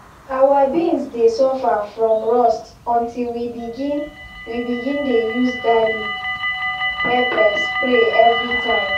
our beans dey suffer from rust until we begin we begin dey use garlic-pepper spray everytime.